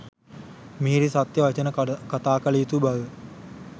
මිහිරි සත්‍ය වචන කතා කළ යුතු බව